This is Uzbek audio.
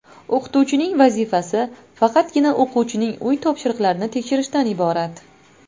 O‘qituvchining vazifasi faqatgina o‘quvchining uy topshiriqlarini tekshirishdan iborat.